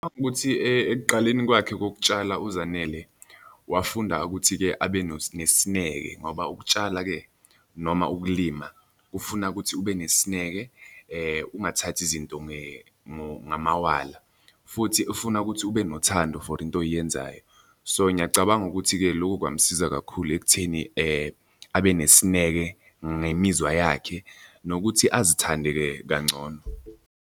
Ukuthi ekuqaleni kwakhe kokutshala uZanele wafunda ukuthi-ke abe nesineke ngoba ukutshala-ke noma ukulima kufuna ukuthi ube nesineke, ungathathi izinto ngamawala, futhi ufuna ukuthi ube nothando for into oyenzayo. So ngiyacabanga ukuthi-ke loku kwamsiza kakhulu ekutheni abe nesineke ngemizwa yakhe, nokuthi azithande-ke kangcono.